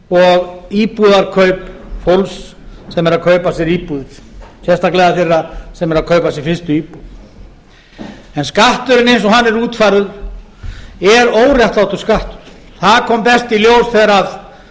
og íbúðarkaup fólks sem er að kaupa sér íbúðir sérstaklega þeirra sem eru að kaupa sér fyrstu íbúð skatturinn eins og hann er útfærður er óréttlátur skattur það kom best í